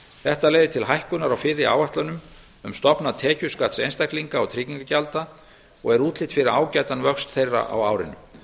þetta leiðir til hækkunar á fyrri áætlunum um stofna tekjuskatts einstaklinga og tryggingagjalda og er útlit fyrir ágætan vöxt þeirra á árinu